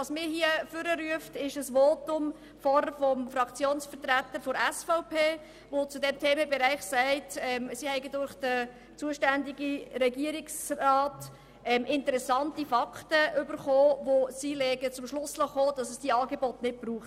Was mich ans Rednerpult gerufen hat, ist ein Votum des Fraktionssprecher der SVP, der zu diesem Themenbereich gesagt hat, die SVP habe durch den zuständigen Regierungsrat interessante Fakten erhalten, welche sie zum Schluss geführt hat, dass es diese Angebote nicht brauche.